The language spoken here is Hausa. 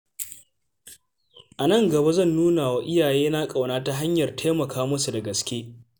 A nan gaba, zan nuna wa iyayena ƙauna ta hanyar taimaka musu da gaske.